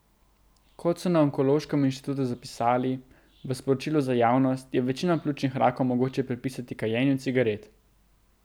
Kot so na onkološkem inštitutu zapisali v sporočilu za javnost, je večino pljučnih rakov mogoče pripisati kajenju cigaret.